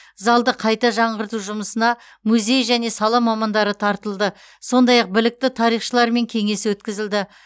залды қайта жаңғырту жұмысына музей және сала мамандары тартылды сондай ақ білікті тарихшылармен кеңес өткізілді